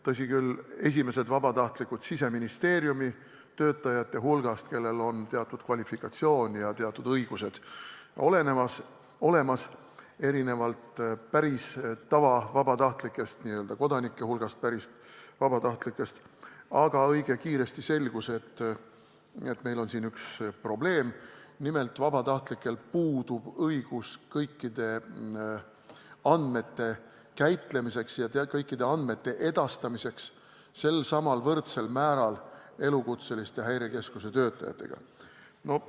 Tõsi küll, esimestel vabatahtlikel Siseministeeriumi töötajate hulgast on teatud kvalifikatsioon ja õigused olemas erinevalt tavavabatahtlikest, st tavakodanike hulgast pärit vabatahtlikest, aga õige kiiresti selgus, et neil on siiski üks probleem: nimelt puudub vabatahtlikel õigus kõikide andmete käitlemiseks ja edastamiseks samal, võrdsel määral elukutseliste Häirekeskuse töötajatega.